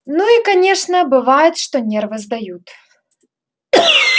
ну и конечно бывает что нервы сдают